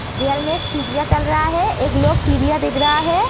दीवाल में एक टीविया चल रहा है एक लोग टीविया देख रहा है।